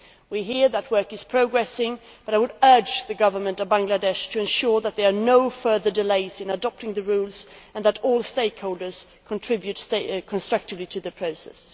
We hear that work is progressing, but I would urge the Government of Bangladesh to ensure that there are no further delays in adopting the rules and that all stakeholders contribute constructively to the process.